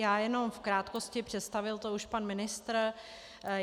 Já jenom v krátkosti, představil to už pan ministr.